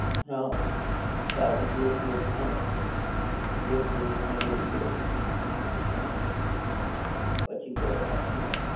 હા sir close blouse close blouse ને એવું બધું કર પેરી હા પછી કરે હાચી વાત છે